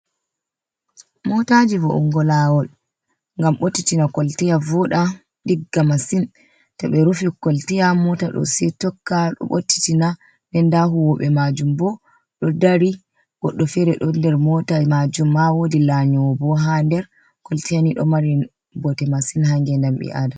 Mootaaji wo''ingo laawol ngam ɓottitina kolteya vooɗa ɗigga masin, to ɓe rufi koltiya moota ɗo se tokka sei ɓottitina nden nda huuwoɓe maajum boo ɗo dari goɗɗo feere don nder, moota maajum ma woodi lanyoowo bo ha nder. koltaya ɗo mari bote masin haa nge ndam ɓi aadama.